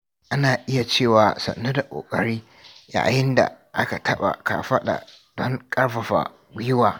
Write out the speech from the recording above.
Ana iya cewa "Sannu da kokari" yayin da aka taɓa kafaɗa don ƙarfafa gwiwa.